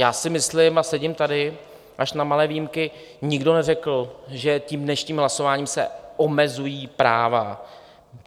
Já si myslím, a sedím tady až na malé výjimky, nikdo neřekl, že tím dnešním hlasováním se omezují práva.